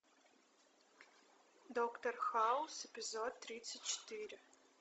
доктор хаус эпизод тридцать четыре